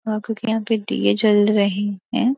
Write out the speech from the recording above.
हाँ क्यूंकि यहाँ पे दीये जल रहे हैं।